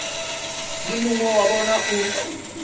le mongwe wa bona o